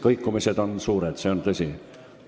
Kõikumised on suured, see on tõsi.